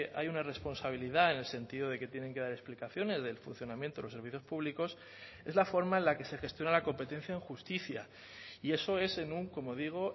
hay una responsabilidad en el sentido de que tienen que dar explicaciones del funcionamiento de los servicios públicos es la forma en la que se gestiona la competencia en justicia y eso es en un como digo